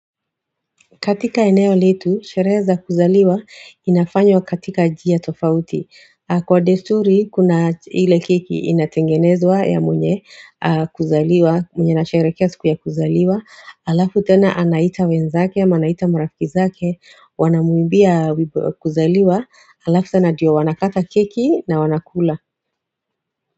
Katika eneo letu, sherehe za kuzaliwa inafanywa katika njia tofauti. Kwa desturi, kuna ile keki inatengenezwa ya mwenye kuzaliwa, mwenye ana sherehekea siku ya kuzaliwa. Halafu tena anaita wenzake ama anaita marafiki zake. Wanamuimbia wimbo wa kuzaliwa. Halafu tena ndiyo wanakata keki na wanakula.